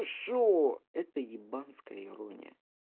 ты что это ебанская ирония